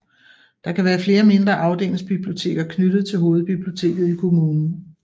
Der kan være flere mindre afdelingsbiblioteker knyttet til hovedbiblioteket i kommunen